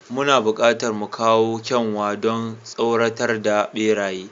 Muna buƙatar mu kawo kyanwa, don tsoratar da beraye.